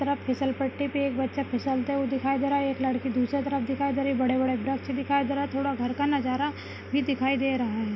तरफ फिसल पट्टी पे एक बच्चा फिसलते हुए दिखाई दे रहा एक लड़की दूसरे तरफ दिखाई दे रही बड़े बड़े वृक्ष दिखाई दे रहा थोड़ा घर का नज़ारा भी दिखाई दे रहा है।